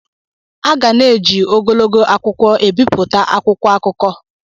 A ga na-eji ogologo akwụkwọ ebipụta akwụkwọ akụkọ.